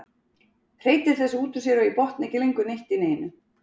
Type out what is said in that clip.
Hreytir þessu út úr sér og ég botna ekki lengur neitt í neinu.